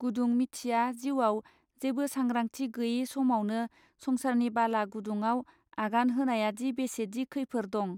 गुदुं मिथिया जीउवाव जेबो सांग्रांथि गैये समावनो संसारनि बाला गुदुंआव आगान होनायादि बेसेदि खैफोर दं!.